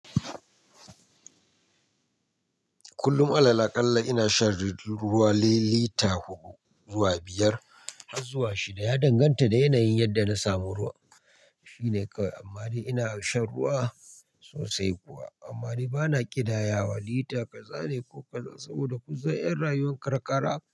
Kullum alal akalla ina shan ri-- ruwa lita huɗu zuwa biyar har zuwa shida. Ya danganta da yanayin yadda na samu ruwa. Shi ne kawai ab--. Amma dai ina shan ruwa sosai kuwa amma dai bana ƙidaya wa lita ƙaza ne ko ƙaza saboda ƙun san 'yan rayuwar karkara.